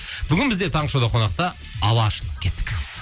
бүгін бізде таңғы шоуда қонақта алаш кеттік